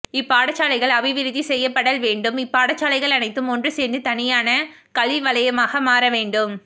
இப்பாடசாலைகள் அபிவிருத்தி செய்யப்படல் வேண்டும் இப்பாடசாலைகள் அனைத்தும் ஒன்று சேர்ந்து தனியான கல்வி வலையமாமாகமாறவேண்டும்